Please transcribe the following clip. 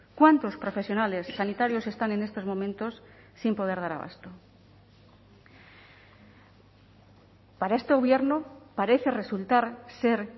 cuantos profesionales sanitarios están en estos momentos sin poder dar abasto para este gobierno parece resultar ser